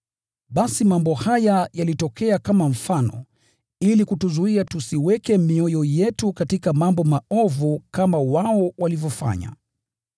Basi mambo haya yalitokea kama mifano ili kutuzuia tusiweke mioyo yetu katika mambo maovu kama wao walivyofanya.